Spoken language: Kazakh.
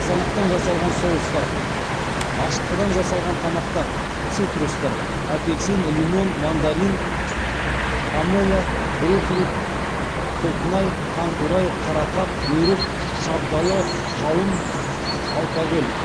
қызанақтан жасалған соустар ашытқыдан жасалған тамақтар цитрустар апельсин лимон мандарин помело грейпфрут құлпынай таңқурай қарақат өрік шабдалы қауын алкоголь